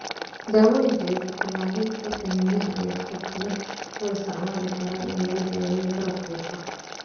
Daawooyinka iyo ku-tallaalidda xiniinyaha ayaa sidoo kale loo isticmaali karaa in lagu daaweeyo bararka lafaha.